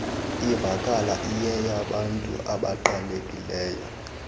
ivakala iyeyabantu abaqhelekileyo